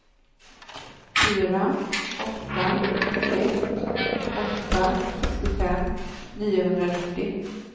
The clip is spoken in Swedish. fyra åtta ett åtta sextiofem niohundranittio